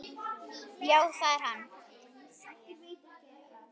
Já það er hann.